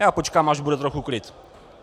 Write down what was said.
Já počkám, až bude trochu klid.